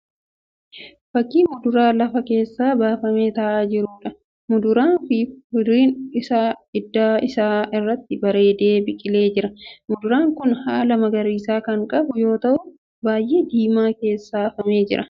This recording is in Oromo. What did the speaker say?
Fakkii muduraa lafa keessaa baafamee ta'aa jiruudha. Muduraan kun firiin isaa idda isaa irratti bareedee biqilee jira. Muduraan kun baala magariisa kan qabu yoo ta'u biyyee diimaa keessa afamee jira.